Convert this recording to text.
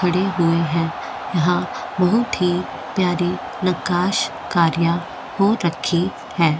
खड़े हुए है यहाँ बहूत ही प्यारी नक्काशकार्या हो रखी है।